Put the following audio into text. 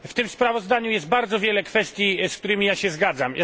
W tym sprawozdaniu jest bardzo wiele kwestii, z którymi się zgadzam.